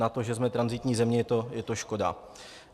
Na to, že jsme tranzitní země, je to škoda.